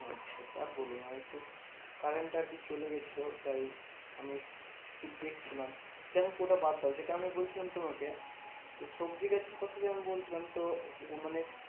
আর বলোনা একটু current টা আরকি চলে গেছিলো তাই আমি দেখছিলাম। যাইহোক ওটা বাদদাও যেটা আমি বলছিলাম তোমাকে সবজি গাছের কথা যে আমি বলছিলাম তো মানে